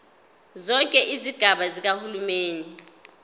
zonke izigaba zikahulumeni